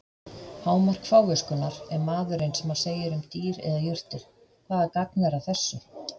Hámark fáviskunnar er maðurinn sem segir um dýr eða jurtir: Hvaða gagn er að þessu?